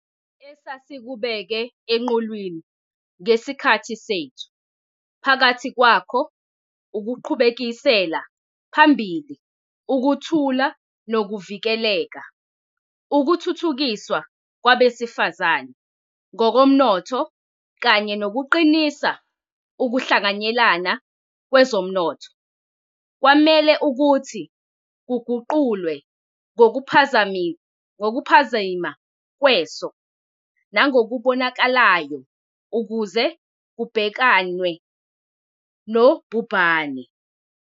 Esasikubeke eqhulwini ngesikhathi sethu, phakathi kwakho ukuqhubekisela phambili ukuthula nokuvikeleka, ukuthuthukiswa kwabesifazane ngokomnotho kanye nokuqinisa ukuhlanganyela kwezomnotho, kwamele ukuthi kuguqulwe ngokuphazima kweso nangokubonakalayo ukuze kubhekanwe nobhubhane.